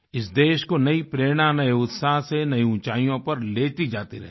इस देश को नयी प्रेरणा में उत्साह से नयी ऊंचाइयों पर लेती जाती रहेंगी